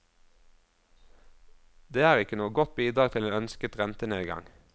Det er ikke noe godt bidrag til en ønsket rentenedgang.